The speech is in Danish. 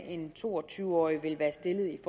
en to og tyve årig vil være stillet i